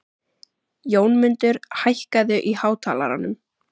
Jónmundur, hækkaðu í hátalaranum.